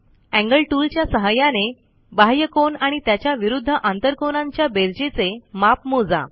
angle tool च्या सहाय्याने बाह्यकोन आणि त्याच्या विरूध्द आंतरकोनांच्या बेरजेचे माप मोजा